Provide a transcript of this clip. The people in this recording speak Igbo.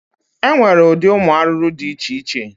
E nwere ụdị ụmụ arụrụ dị iche iche.